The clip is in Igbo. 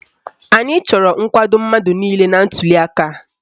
Anyị chọrọ nkwado mmadụ niile na ntuliaka a.